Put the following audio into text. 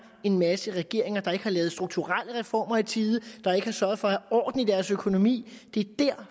en masse regeringer der ikke har lavet strukturelle reformer i tide der ikke har sørget for at have orden i deres økonomi det er